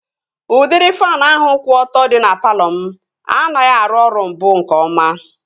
Udịri faanụ ahụ kwụ ọtọ dị na palọ m anaghị arụ ọrụ mbụ nke ọma